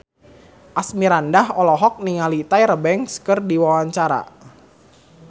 Asmirandah olohok ningali Tyra Banks keur diwawancara